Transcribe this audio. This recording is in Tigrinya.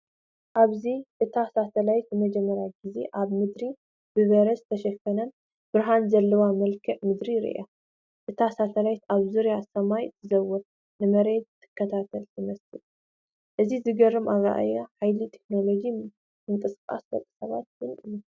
ኣብዚ እታ ሳተላይት ንመጀመርያ ግዜ ኣብ ምድሪ ብበረድ ዝተሸፈነን ብርሃን ዘለዎን መልክዓ ምድሪ ርእያ። እታ ሳተላይት ኣብ ዙርያ ሰማይ ትዘውርን ንመሬት ትከታተል ትመስል። እዚ ዘገርም ኣረኣእያ ሓይሊ ቴክኖሎጅን ምንቅስቓስ ደቂ ሰባትን እዩ።